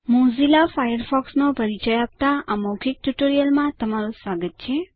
Mozilla ફાયરફોક્સનો પરિચય આપતા આ મૌખિક ટ્યુટોરીયલમાં તમારું સ્વાગત છે